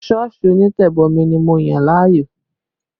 Sọ́ọ̀sì onítẹ̀bomi ni mo yàn láàyò